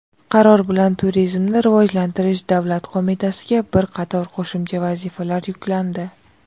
qaror bilan Turizmni rivojlantirish davlat qo‘mitasiga bir qator qo‘shimcha vazifalar yuklandi.